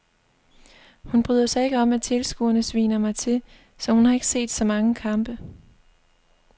Hun bryder sig ikke om at tilskuerne sviner mig til, så hun har ikke set så mange kampe.